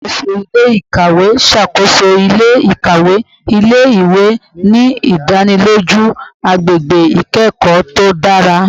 Alakoso ile-ikawe n ṣakoso ile-ikawe ile-iwe, ni idaniloju agbegbe ikẹkọ to dara